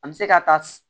An bɛ se ka taa